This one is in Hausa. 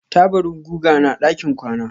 Taburin guga na ɗakin kwana.